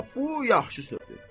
Hə, bu yaxşı sözdür.